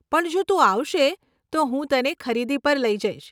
પણ જો તું આવશે, તો હું તને ખરીદી પર લઇ જઈશ.